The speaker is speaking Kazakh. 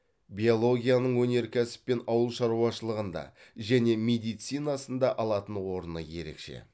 биологияның өнеркәсіп пен ауыл шаруашылығында және медицинасында алатын орны ерекше